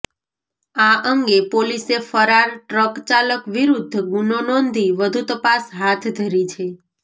આ અંગે પોલીસે ફરાર ટ્રકચાલક વિરૃધ્ધ ગુનો નોંધી વધુ તપાસ હાથ ધરી છે